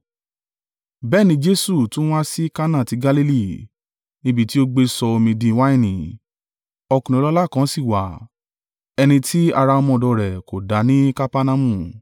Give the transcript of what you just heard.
Bẹ́ẹ̀ ni Jesu tún wá sí Kana ti Galili, níbi tí ó gbé sọ omi di wáìnì. Ọkùnrin ọlọ́lá kan sì wá, ẹni tí ara ọmọ rẹ̀ kò dá ní Kapernaumu.